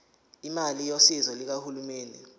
imali yosizo lukahulumeni